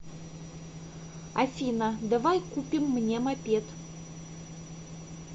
афина давай купим мне мопед